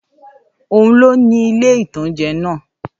Óun ni ó ni ilé-ìtánjẹ náà